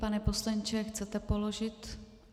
Pane poslanče, chcete položit?